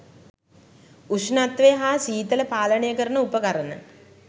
උෂ්ණත්වය හා සීතල පාලනය කරන උපකරණ